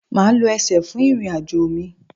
Maa lo ẹsẹ fun irin-ajo mi